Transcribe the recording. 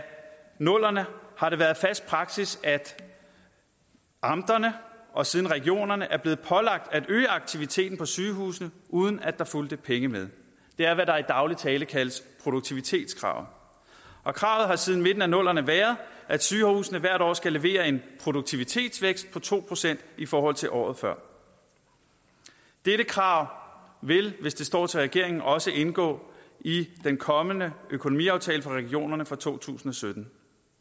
nullerne har det været fast praksis at amterne og siden regionerne er blevet pålagt at øge aktiviteten på sygehusene uden at der fulgte pengene med det er hvad der i daglig tale kaldes produktivitetskravet kravet har siden midten af nullerne været at sygehusene hvert år skal levere en produktivitetsvækst på to procent i forhold til året før dette krav vil hvis det står til regeringen også indgå i den kommende økonomiaftale for regionerne for to tusind og sytten